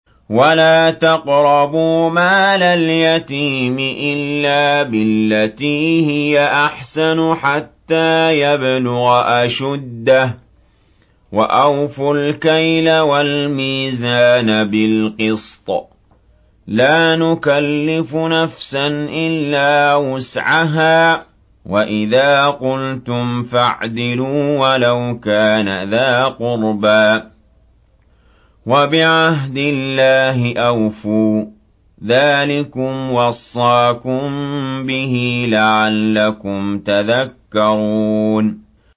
وَلَا تَقْرَبُوا مَالَ الْيَتِيمِ إِلَّا بِالَّتِي هِيَ أَحْسَنُ حَتَّىٰ يَبْلُغَ أَشُدَّهُ ۖ وَأَوْفُوا الْكَيْلَ وَالْمِيزَانَ بِالْقِسْطِ ۖ لَا نُكَلِّفُ نَفْسًا إِلَّا وُسْعَهَا ۖ وَإِذَا قُلْتُمْ فَاعْدِلُوا وَلَوْ كَانَ ذَا قُرْبَىٰ ۖ وَبِعَهْدِ اللَّهِ أَوْفُوا ۚ ذَٰلِكُمْ وَصَّاكُم بِهِ لَعَلَّكُمْ تَذَكَّرُونَ